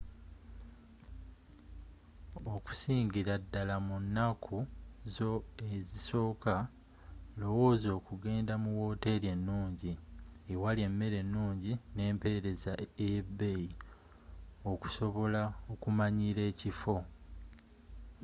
okusingira ddala mu nanku zo ezisoka lowozza okuggendda mu woteri enungi ewali emere enungi n'emperezza ey'ebbeyi okusobola okumanyila ekifo